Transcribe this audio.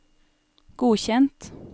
godkjent